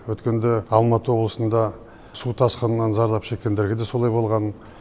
өткенде алматы облысында су тасқынынан зардап шеккендерге де солай болған